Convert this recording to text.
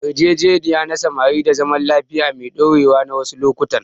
Yarjejeniya na samar da zaman lafiya mai ɗorewa wasu lokutan.